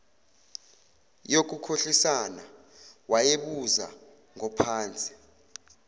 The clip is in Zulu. yokukhohlisana wayebuza ngophansi